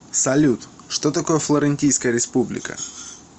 салют что такое флорентийская республика